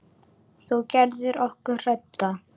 Þú gerðir okkur hrædda.